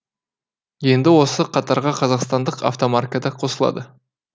енді осы қатарға қазақстандық автомарка да қосылады